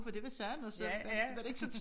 For det var sand og så var det ikke så